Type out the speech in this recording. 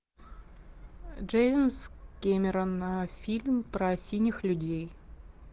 джеймс кэмерон фильм про синих людей